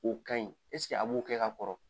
O kaɲi a b'o kɛ ka kɔrɔ ?